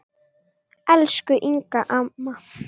Elsku Inga amma.